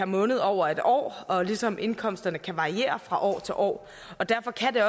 måned over et år ligesom indkomsterne kan variere fra år til år derfor kan